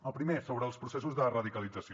el primer sobre els processos de radicalització